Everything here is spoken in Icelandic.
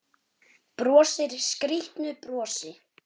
Brosir skrýtnu brosi.